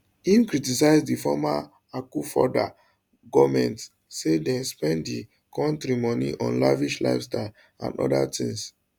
im criticize di former akufoaddo goment say dem spend di kontri moni on lavish lifestyles and oda tins